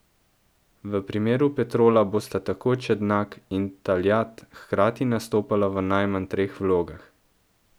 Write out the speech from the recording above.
V primeru Petrola bosta tako Čendak in Taljat hkrati nastopala v najmanj treh vlogah.